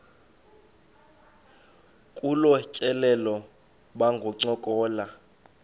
kolu tyelelo bangancokola